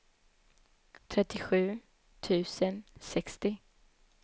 trettiosju tusen sextio